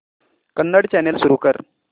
Kannada channel सुरू कर